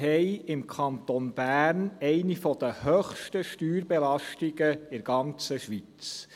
Im Kanton Bern haben wir eine der höchsten Steuerbelastungen in der ganzen Schweiz.